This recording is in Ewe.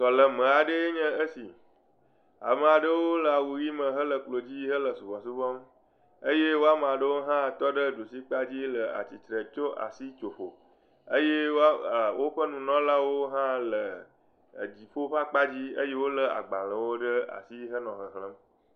Sɔleme aɖe enye esi. Ame aɖewo le awu ʋi me hele klodzi hele subɔsubɔm eye wo ame aɖewo hã tɔ ɖe ɖusi kpadzi le atsitre tso asi tso ƒo eye woa e woƒe nunɔlawo hã le e dziƒo ƒe akpadzi eye wolé agbalẽwo ɖe asi henɔ xexlem.